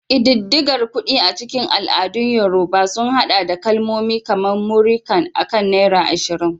Ƙididdigar kuɗi a cikin al'adun Yorùbá sun haɗa da kalmomi kamar "Múrí kan" akan naira 20.